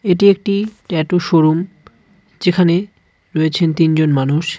এটি একটি tattoo showroom যেখানে রয়েছেন তিনজন মানুষ.